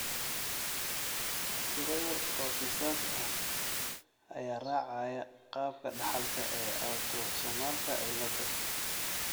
Tiro yar oo kiisas ah ayaa raacaya qaabka dhaxalka ee autosomalka cilada.